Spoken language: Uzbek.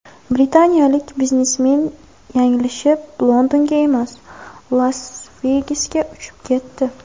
Britaniyalik biznesmen yanglishib, Londonga emas, Las-Vegasga uchib ketdi.